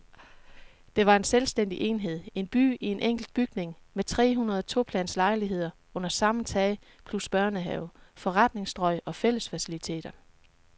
Det var en selvstændig enhed, en by i en enkelt bygning med trehundrede toplans lejligheder under samme tag plus børnehave, forretningsstrøg og fællesfaciliteter.